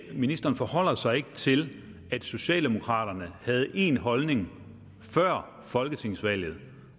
ministeren forholder sig ikke til at socialdemokraterne havde én holdning før folketingsvalget